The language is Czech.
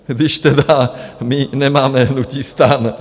Když tedy my nemáme hnutí STAN.